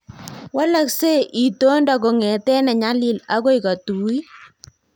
Walaksei itondo kongete ne nyalil agoi kotuit